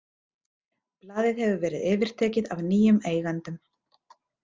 Blaðið hefur verið yfirtekið af nýjum eigendum.